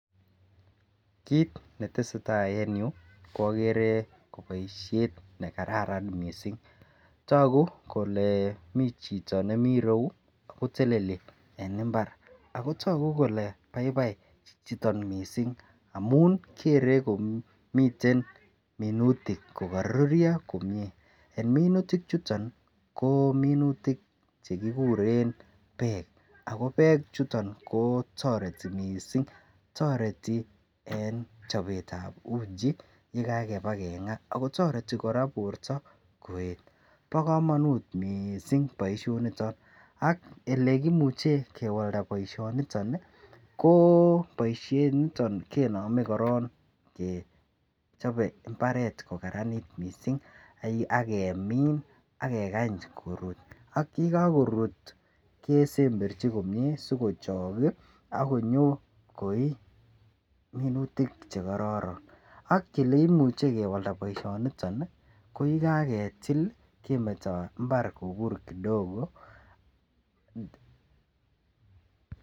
Kit netesetai en yuu ko okere ko boishet nekararan missing, toku kole mii chito nemii royuu ako teleli en imbar ako toku kole baibai chichiton missing amun okere kole miten minutik ko koruryo komie. En minutik chuton nii ko minutik chekikure peek ako peek chuton koo toreti missing toreti en chobetab uchi yekakiba kengaa ako toreti koraa borto koyet, bo komonut missing boishoniton ak oleimuche kewalda boishoniton nii koo boishet niton kenome korong kechobe imbaret kokaranit missing ak kemin ak kekany korur, ak yekokorut kosemberchi komie sikochok kii akinyo koi minutik chekororon ak oleimuche kewalda boishoniton nii ko yekaketil lii kemeto imbar kobur kidogo.